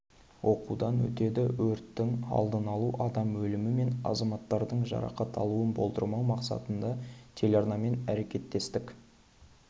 оқудан өтеді өрттің алдын алу адам өлімі мен азаматтардың жарақат алуын болдырмау мақсатында телеарналармен әрекеттестік